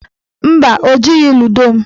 Mba, o jighị ludo m.